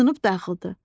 Sınıb dağıldı.